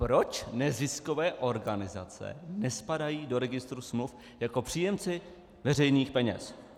Proč neziskové organizace nespadají do registru smluv jako příjemci veřejných peněz?